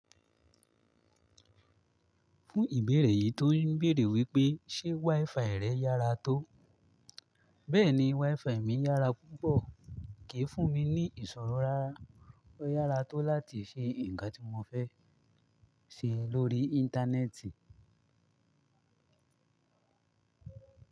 Fún ìbéèrè yìí tó ń béèrè wípé, ṣe WiFi rẹ̀ yára tó. Bẹ́ẹ̀ni, WiFi mi yára púpọ̀, kìí fún mi ní ìṣòro rara, ó yára tó láti ṣe ǹkan tí mo fẹ́ ṣe lórí Íńtánẹ́ẹ̀tì.